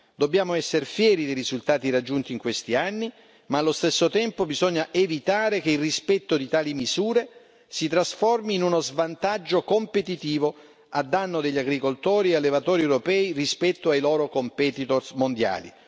Dobbiamo essere fieri dei risultati raggiunti in questi anni ma allo stesso tempo bisogna evitare che il rispetto di tali misure si trasformi in uno svantaggio competitivo a danno degli agricoltori e allevatori europei rispetto ai loro competitor mondiali.